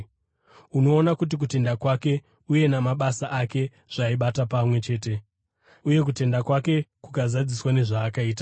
Unoona kuti kutenda kwake uye namabasa ake zvaibata pamwe chete, uye kutenda kwake kukazadziswa nezvaakaita.